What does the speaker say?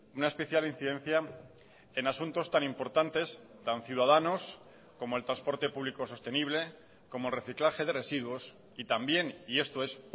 una especial incidencia en asuntos tan importantes tan ciudadanos como el transporte público sostenible como reciclaje de residuos y también y esto es